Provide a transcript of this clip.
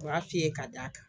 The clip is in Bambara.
U y'a f'i ye ka d'a kan